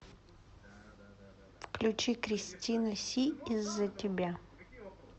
включи кристина си из за тебя